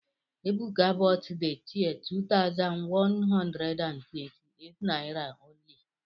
Ebuka bought the chair two thousand one hundred and twenty eight naira only.